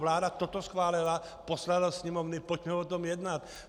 Vláda toto schválila, poslala Sněmovně, pojďme o tom jednat.